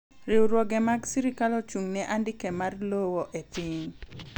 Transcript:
riwruoge mag sirikal ochung' ne andike mar lowo e piny